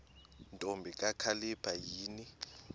ntombi kakhalipha yini